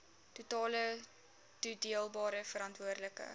totale toedeelbare veranderlike